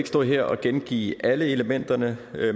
stå her og gengive alle elementerne